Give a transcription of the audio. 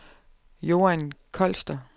Joan Kloster